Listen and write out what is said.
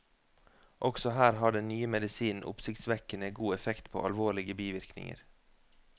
Også her har den nye medisinen oppsiktsvekkende god effekt på alvorlige bivirkninger.